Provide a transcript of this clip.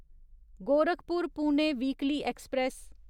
Gorakhpur Pune weekly express